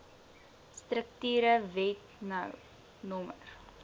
strukture wet no